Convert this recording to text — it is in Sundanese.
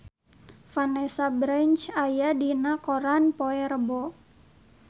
Vanessa Branch aya dina koran poe Rebo